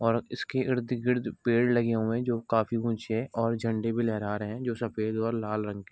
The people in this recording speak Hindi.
और इसके इर्द गिर्द पेड़ लगे हुए हैं जो काफ़ी ऊँचे और झंडे भी लहरा रहे हैं जो सफेद और लाल रंग के --